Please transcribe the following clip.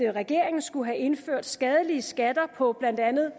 regeringen skulle have indført skadelige skatter på blandt andet